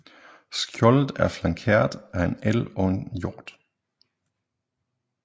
Skjoldet er flankeret af en elg og en hjort